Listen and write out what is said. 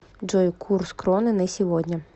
джой курс кроны на сегодня